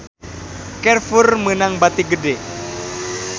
Carrefour meunang bati gede